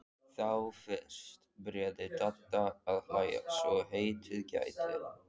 Þá fyrst byrjaði Dadda að hlæja svo heitið gæti.